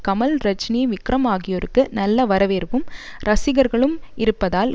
கமல் ரஜினி விக்ரம் ஆகியோருக்கு நல்ல வரவேற்பும் ரசிகர்களும் இருப்பதால்